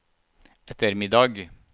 ettermiddag